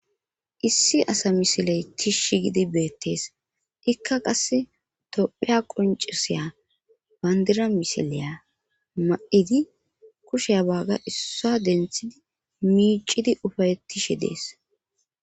Issi asa misiley tishsh gidi beettees ikka qasse tophiya qoncisiya bandira misileya ma7idi kushe waaga issa denthidi miicidi ufayettishe dees.